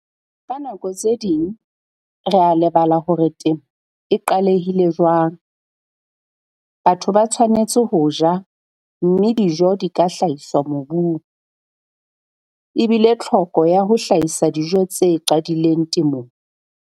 Ka nako tse ding re a lebala hore temo e qalehile jwang - batho ba tshwanetse ho ja, mme dijo di ka hlahiswa mobung. E bile tlhoko ya ho hlahisa dijo tse qadileng temong.